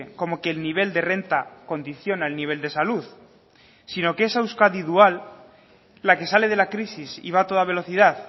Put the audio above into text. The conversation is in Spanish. como que el nivel de renta condiciona el nivel de salud sino que esa euskadi dual la que sale de la crisis y va a toda velocidad